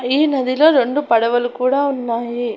ఈ నదిలో రెండు పడవలు కూడా ఉన్నాయి.